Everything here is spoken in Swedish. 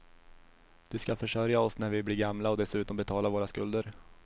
De skall försörja oss när vi blir gamla och dessutom betala våra skulder.